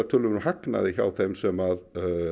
töluverðum hagnaði hjá þeim sem